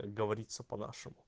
как говорится по нашему